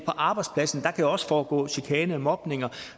arbejdspladsen kan der jo også foregå chikane mobning